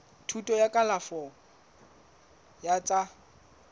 thuto ya kalafo ya tsa